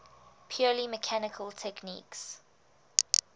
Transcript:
purely mechanical techniques